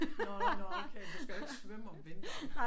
Nårh nårh okay du skal ikke svømme om vinteren